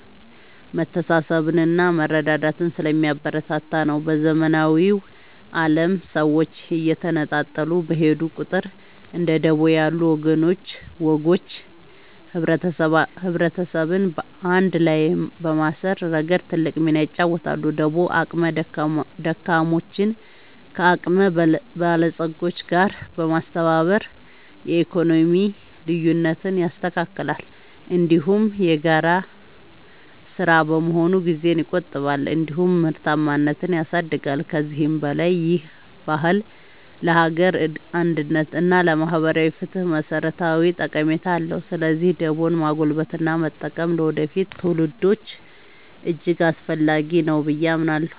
መተሳሰብንና መረዳዳትን ስለሚያበረታታ ነው። በዘመናዊው ዓለም ሰዎች እየተነጣጠሉ በሄዱ ቁጥር፣ እንደ ደቦ ያሉ ወጎች ማህበረሰብን አንድ ላይ በማሰር ረገድ ትልቅ ሚና ይጫወታሉ። ደቦ አቅመ ደካሞችን ከአቅመ በለጾች ጋር በማስተባበር የኢኮኖሚ ልዩነትን ያስተካክላል፤ እንዲሁም የጋራ ሥራ በመሆኑ ጊዜን ይቆጥባል እንዲሁም ምርታማነትን ያሳድጋል። ከዚህም በላይ ይህ ባህል ለሀገር አንድነት እና ለማህበራዊ ፍትህ መሠረታዊ ጠቀሜታ አለው። ስለዚህ ደቦን ማጎልበትና መጠበቅ ለወደፊት ትውልዶች እጅግ አስፈላጊ ነው ብዬ አምናለሁ።